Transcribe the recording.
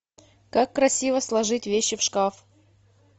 как красиво сложить вещи в шкаф